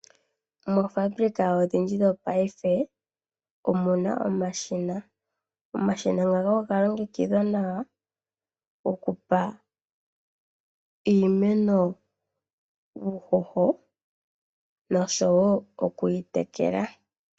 Moofaabulika odhindji dhongaashingeyi omuna omashina. Omashina ngaka oga longekidhwa nawa okupa iimeno uuhoho noshowo okuyi tekela.